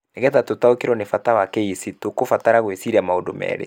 Nĩgetha tũtaũkĩrũo nĩ bata wa KEC, nĩ tũkũbatara gwĩciria maũndũ merĩ.